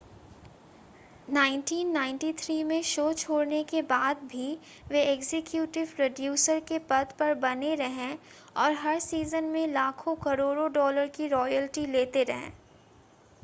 1993 में शो छोड़ने के बाद भी वे एग्जीक्यूटिव प्रोड्यूसर के पद पर बने रहे और हर सीज़न में लाखों-करोड़ों डॉलर की रॉयल्टी लेते रहे